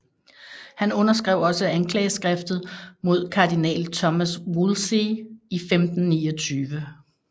Han underskrev også anklageskriftet mod kardinal Thomas Wolsey i 1529